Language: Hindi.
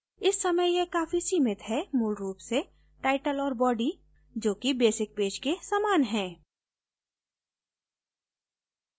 इस समय यह काफी सीमित है मूल रूप से title और body जो कि basic page के समान है